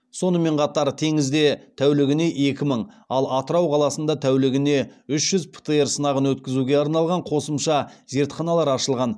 сонымен қатар теңізде тәулігіне екі мың ал атырау қаласында тәулігіне үш жүз птр сынағын өткізуге арналған қосымша зертханалар ашылған